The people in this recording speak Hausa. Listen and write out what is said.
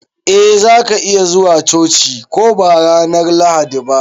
Eh za ka iya zuwa coci ko ba ranar Lahadi ba.